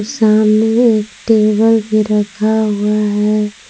सामने एक टेबल भी रखा हुआ है।